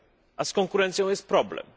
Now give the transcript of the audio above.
A z konkurencją jest problem.